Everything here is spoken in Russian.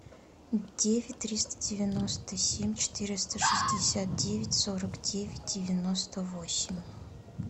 девять триста девяносто семь четыреста шестьдесят девять сорок девять девяносто восемь